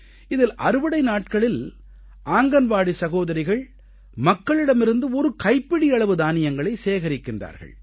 இதில் அறுவடை நாட்களில் ஆங்கன்வாடி சகோதரிகள் மக்களிடமிருந்து ஒரு கைப்பிடியளவு தானியங்களை சேகரிக்கிறார்கள்